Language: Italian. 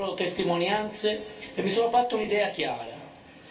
Ho ascoltato le loro testimonianze e mi sono fatto un'idea chiara